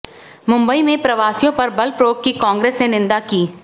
मुंबई में प्रवासियों पर बल प्रयोग की कांग्रेस ने निंदा की